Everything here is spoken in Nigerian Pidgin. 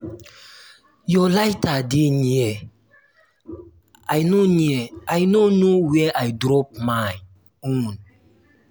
your lighter dey near i no near i no know where i drop my own